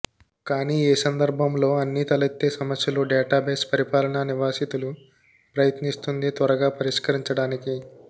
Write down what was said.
కానీ ఏ సందర్భంలో అన్ని తలెత్తే సమస్యలు డేటాబేస్ పరిపాలన నివాసితులు ప్రయత్నిస్తుంది త్వరగా పరిష్కరించడానికి